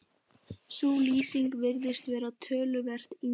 Sú lýsing virðist vera töluvert yngri.